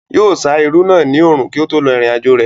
Yóò sá irú náà ní òrùn kí ó tó lọ ìrìn àjò rẹ̀